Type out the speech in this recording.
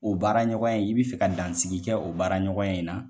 O baara ɲɔgɔn in i bi fɛ ka dansiki kɛ, o baara ɲɔgɔnya in na ?